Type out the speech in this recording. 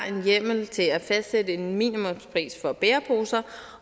en hjemmel til at fastsætte en minimumspris for bæreposer